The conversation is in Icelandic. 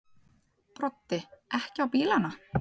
Broddi: Ekki á bílana?